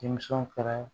Denmisɛnw fɛnɛ